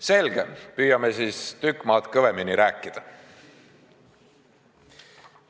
Selge, püüan tükk maad kõvemini rääkida.